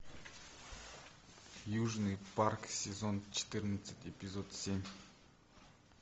южный парк сезон четырнадцать эпизод семь